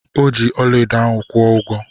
Ọ ji ọlaedo ahụ kwụ ụgwọ.